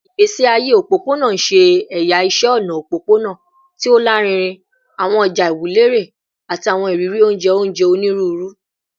Igbesi aye opopona ṣe ẹya iṣẹ ọna opopona ti o larinrin, awọn ọja iwunlere, ati awọn iriri onjẹ onjẹ oniruuru